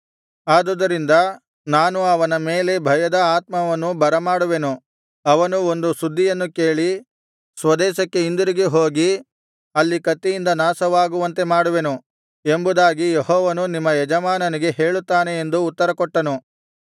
ಆದುದರಿಂದ ನಾನು ಅವನ ಮೇಲೆ ಭಯದ ಆತ್ಮವನ್ನು ಬರಮಾಡುವೆನು ಅವನು ಒಂದು ಸುದ್ದಿಯನ್ನು ಕೇಳಿ ಸ್ವದೇಶಕ್ಕೆ ಹಿಂದಿರುಗಿ ಹೋಗಿ ಅಲ್ಲಿ ಕತ್ತಿಯಿಂದ ನಾಶವಾಗುವಂತೆ ಮಾಡುವೆನು ಎಂಬುದಾಗಿ ಯೆಹೋವನು ನಿಮ್ಮ ಯಜಮಾನನಿಗೆ ಹೇಳುತ್ತಾನೆ ಎಂದು ಉತ್ತರಕೊಟ್ಟನು